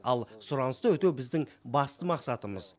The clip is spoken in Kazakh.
ал сұранысты өтеу біздің басты мақсатымыз